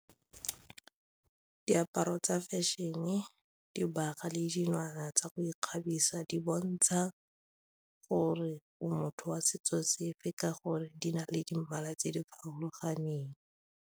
Diaparo tsa fashion-e, dibaga le dilwana tsa go ikgabisa di bontsha gore motho wa setso sefe ka gore di na le di mmala tse di farologaneng.